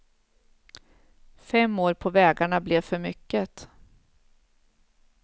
Fem år på vägarna blev för mycket.